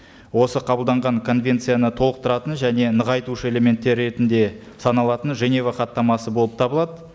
осы қабылданған конвенцияны толықтыратын және нығайтушы элементтері ретінде саналатын женева хаттамасы болып табылады